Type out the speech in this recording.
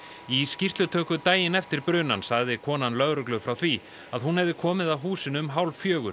í skýrslutöku daginn eftir brunann sagði konan lögreglu frá því að hún hefði komið að húsinu um hálf fjögur